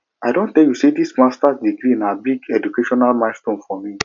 i don tell you sey dis masters degree na big educational milestone for me